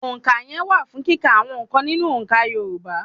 Ònkaye wà fún kíkà àwọn n̄ǹkan nínú òǹkà Yorùbá.